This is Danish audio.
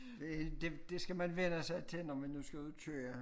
Det helt det det skal man vænne sig til når man nu skal ud og køre